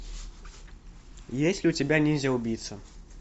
есть ли у тебя ниндзя убийца